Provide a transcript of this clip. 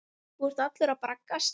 Þú ert allur að braggast.